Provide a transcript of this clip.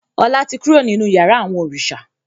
Ọlá tí kúrò nínú yàrá àwọn òrìṣà.